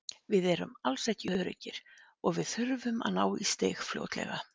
Við erum alls ekki öruggir og við þurfum að ná í stig fljótlega.